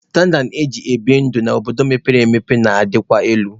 Standaad eji ebi ndụ n'obodo mepere emepe na-adịkwa elu.